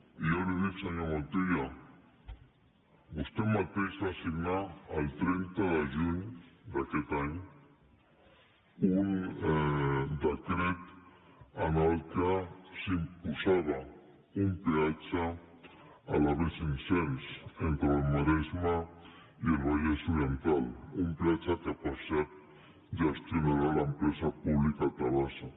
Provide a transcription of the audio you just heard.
i jo li dic senyor montilla vostè mateix va signar el trenta de juny d’aquest any un decret en què s’imposava un peatge a la b cinc cents entre el maresme i el vallès oriental un peatge que per cert gestionarà l’empresa pública tabasa